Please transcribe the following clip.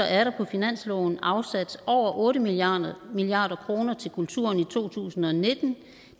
er der på finansloven afsat over otte milliard milliard kroner til kulturen i to tusind og nitten